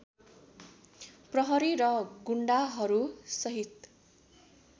प्रहरी र गुण्डाहरूसहित